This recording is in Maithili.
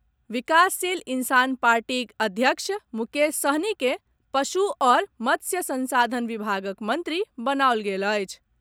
विकासशील इंसान पार्टीक अध्यक्ष मुकेश सहनी के पशु आओर मत्स्य संसाधन विभागक मंत्री बनाओल गेल अछि।